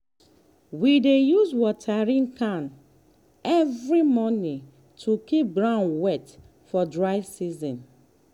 we dey use watering can every morning to keep ground wet for dry season.